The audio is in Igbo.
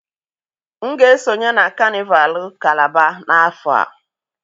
M ga-esonye na kanịval val kalaba n'afọ a